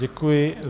Děkuji.